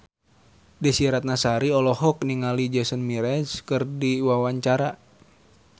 Desy Ratnasari olohok ningali Jason Mraz keur diwawancara